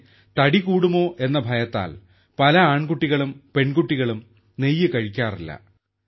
പക്ഷേ തടി കൂടുമോ എന്ന ഭയത്താൽ പല ആൺകുട്ടികളും പെൺകുട്ടികളും നെയ്യ് കഴിക്കാറില്ല